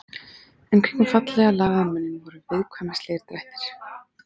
En kringum fallega lagaðan munninn voru viðkvæmnislegir drættir.